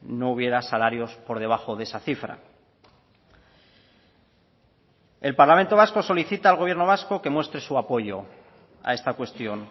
no hubiera salarios por debajo de esa cifra el parlamento vasco solicita al gobierno vasco que muestre su apoyo a esta cuestión